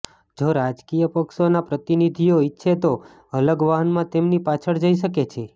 જો રાજકીય પક્ષોના પ્રતિનિધિઓ ઇચ્છે તો અલગ વાહનમાં તેમની પાછળ જઈ શકે છે